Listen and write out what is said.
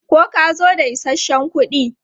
Ko ka zo da isasshen kuɗi?